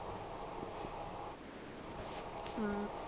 ਅਮ